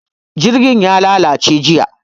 Jirgin ya lalace jiya.